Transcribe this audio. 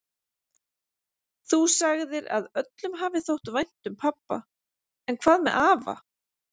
Þú sagðir að öllum hafi þótt vænt um pabba, en hvað með afa?